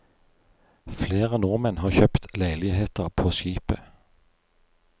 Flere nordmenn har kjøpt leiligheter på skipet.